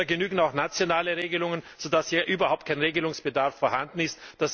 Da genügen auch nationale Regelungen, so dass hier überhaupt kein Regelungsbedarf vorhanden ist.